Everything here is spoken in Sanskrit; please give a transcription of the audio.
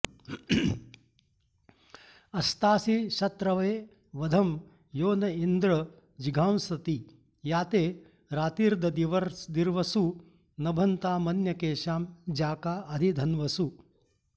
अस्तासि शत्रवे वधं यो न इन्द्र जिघांसति या ते रातिर्ददिर्वसु नभन्तामन्यकेषां ज्याका अधि धन्वसु